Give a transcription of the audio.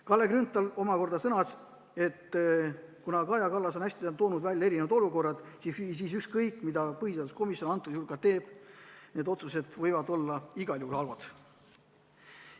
Kalle Grünthal sõnas, et Kaja Kallas on hästi toonud välja erinevad olukorrad ja ükskõik, mida põhiseaduskomisjon antud juhul ka ei otsusta, need otsused võivad olla igal juhul halvad.